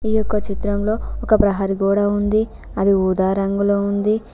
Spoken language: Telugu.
ఈ యొక్క చిత్రంలో ఒక ప్రహరి గోడ ఉంది అది ఊదా రంగులో ఉంది.